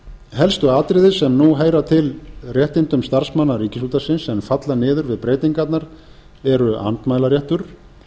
helstu atriði sem nú heyra til réttinda starfsmanna ríkisútvarpsins en falla niður við breytingarnar eru andmælaréttur